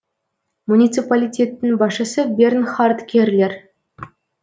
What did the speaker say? муниципалитеттің басшысы бернхард керлер